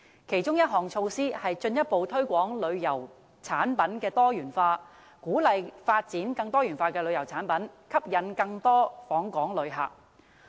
其中一項措施是進一步推廣旅遊產品多元化，鼓勵發展更多元化的旅遊產品，藉以吸引更多旅客訪港。